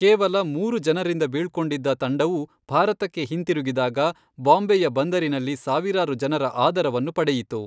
ಕೇವಲ ಮೂರು ಜನರಿಂದ ಬೀಳ್ಕೊಂಡಿದ್ದ ತಂಡವು ಭಾರತಕ್ಕೆ ಹಿಂತಿರುಗಿದಾಗ ಬಾಂಬೆಯ ಬಂದರಿನಲ್ಲಿ ಸಾವಿರಾರು ಜನರ ಆದರವನ್ನು ಪಡೆಯಿತು.